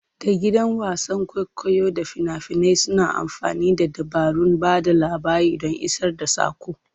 Da gidan wasan kwaikwayo da fina-finai suna amfani da dabarun ba da labari don isar da saƙo.